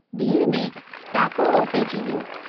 भीड़ में टाकोड़ो पइजी वियो।